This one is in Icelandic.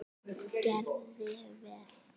Gerði vel.